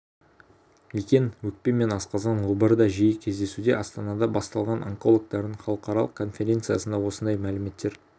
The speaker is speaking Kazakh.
екен өкпе мен асқазан обыры да жиі кездесуде астанада басталған онкологтардың халықаралық конференциясында осындай мәліметтер